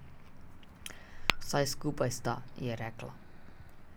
Vsaj skupaj sta, je rekla.